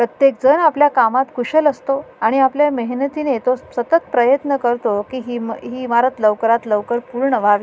प्रत्येक जन आपल्याला कामात कुशल असतो आणि आपल्या मेहनतीने तो सतत प्रयत्न करतो कि ही इमा ही इमारत लवकरात लवकर पूर्ण व्हावी.